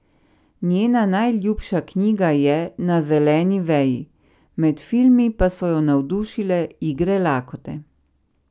Njena najljubša knjiga je Na zeleni veji, med filmi pa so jo navdušile Igre lakote.